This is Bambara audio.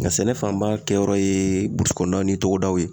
Nka sɛnɛ fanba kɛyɔrɔ ye burusikɔnɔnaw ni togodaw ye